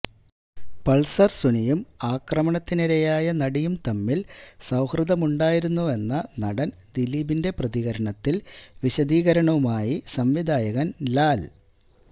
Pulsar സുനിയും ആക്രമണത്തിനിരയായ നടിയും തമ്മില് സൌഹൃദമുണ്ടായിരുന്നുവെന്ന നടന് ദിലീപിന്റെ പ്രതികരണത്തില് വിശദീകരണവുമായി സംവിധായകന് ലാല്